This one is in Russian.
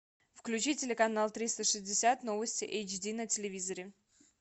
включи телеканал триста шестьдесят новости эйч ди на телевизоре